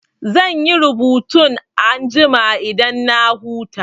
Zan yi rubutun anjima idan na huta.